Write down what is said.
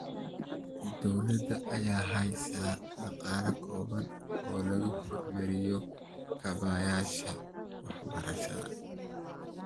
Dowladda ayaa heysata dhaqaale kooban oo lagu horumarinayo kaabayaasha waxbarashada.